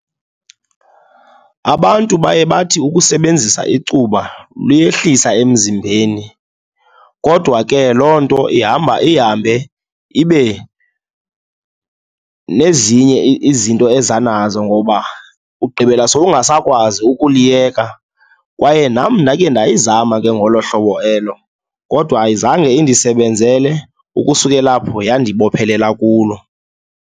Abantu bayebathi ukusebenzisa icuba luyehlisa emzimbeni kodwa ke loo nto ihamba ihambe ibe nezinye izinto eza nazo ngoba ugqibela sowungasakwazi ukuliyeka. Kwaye nam ndakhe ndayizama ke ngolo hlobo elo kodwa ayizange indisebenzele, ukusukela apho yandibophelela kulo.